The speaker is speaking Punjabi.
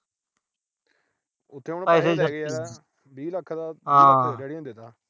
ਉਥੇ ਹੁਣ ਪੈਸੇ ਚਾਹੀਦੇ ਆ। ਵੀਹ ਲੱਖ ਤਾਂ daddy ਨੇ ਦੇਤਾ।